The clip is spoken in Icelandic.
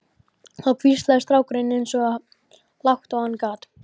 Þá hvíslaði strákurinn eins og lágt og hann gat